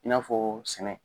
I n'a fɔ sɛnɛ